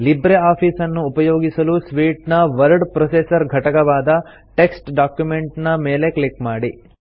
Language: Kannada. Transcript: ಲಿಬ್ರೆ ಆಫೀಸ್ ಅನ್ನು ಉಪಯೋಗಿಸಲು ಸೂಟ್ ನ ವರ್ಡ್ ಪ್ರೊಸೆಸರ್ ಘಟಕವಾದ ಟೆಕ್ಸ್ಟ್ ಡಾಕ್ಯುಮೆಂಟ್ ನ ಮೇಲೆ ಕ್ಲಿಕ್ ಮಾಡಿ